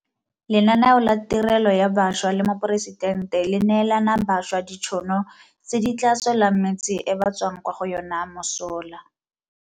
Lenaneo la Tirelo ya Bašwa la Moporesitente le neelana bašwa ditšhono tse di tla tswelang metse e ba tswang kwa go yona mosola.